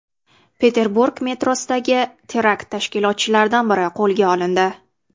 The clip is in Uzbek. Peterburg metrosidagi terakt tashkilotchilaridan biri qo‘lga olindi.